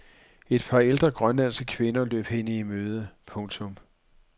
Et par ældre grønlandske kvinder løb hende i møde. punktum